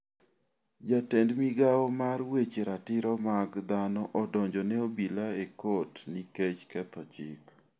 Jatend migawo mar weche ratiro mag dhano donjo ne obila e kot nikech ketho chik.